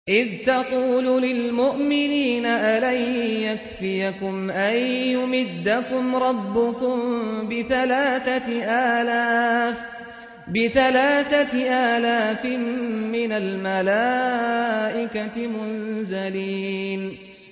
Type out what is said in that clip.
إِذْ تَقُولُ لِلْمُؤْمِنِينَ أَلَن يَكْفِيَكُمْ أَن يُمِدَّكُمْ رَبُّكُم بِثَلَاثَةِ آلَافٍ مِّنَ الْمَلَائِكَةِ مُنزَلِينَ